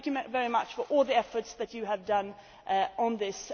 Thank you very much for all the efforts that you have made on this.